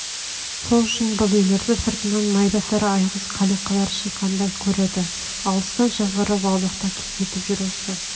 сол үшін бұл үйлерді сыртынан майбасар айғыз қалиқалар шиқандай көреді алыстан жазғырып аулақта кекетіп жүр осы